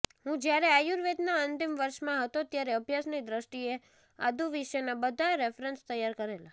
હું જ્યારે આયુર્વેદના અંતિમ વર્ષમાં હતો ત્યારે અભ્યાસની દ્રષ્ટિએ આદુ વિશેના બધા રેફરન્સ તૈયાર કરેલા